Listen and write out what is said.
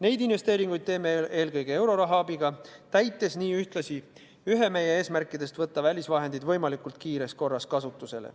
Neid investeeringuid teeme eelkõige euroraha abil, täites nii ühtlasi ühe meie eesmärkidest – võtta välisvahendid võimalikult kiires korras kasutusele.